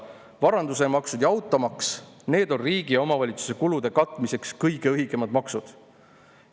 Varandusemaksud ja automaks, need on riigi ja omavalitsuse kulude katmiseks kõige õigemad maksud.